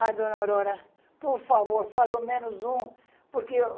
Ai, dona Aurora, por favor, faz o menos um, porque o...